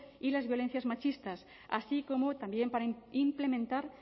y las violencias machistas así como también para implementar